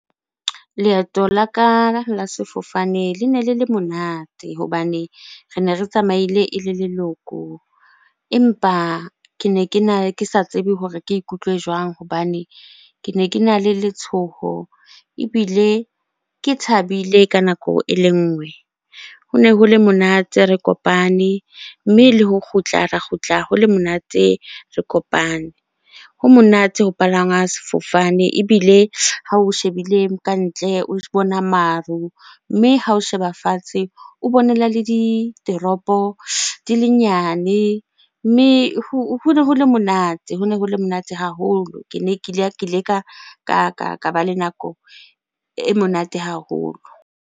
Leeto la ka la sefofane lene le le monate hobane rene re tsamaile e le leloko. Empa kene kena, ke sa tsebe hore ke ikutlwe jwang hobane kene kena le letshoho ebile ke thabile ka nako e le nngwe. Hone ho le monate re kopane mme le ho kgutla, ra kgutla ho le monate re kopane. Ho monate ho palangwa sefofane ebile ha o shebile ka ntle o bona maru, mme ha o sheba fatshe o bonela le ditoropo di le nyane. Mme hone ho le monate, hone ho le monate haholo. Kene ke ile ka ba le nako e monate haholo.